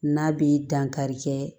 N'a bi dankari kɛ